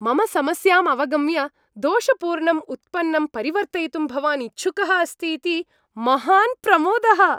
मम समस्याम् अवगम्य दोषपूर्णम् उत्पन्नं परिवर्तयितुं भवान् इच्छुकः अस्ति इति महान् प्रमोदः।